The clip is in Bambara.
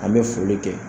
An bɛ foli kɛ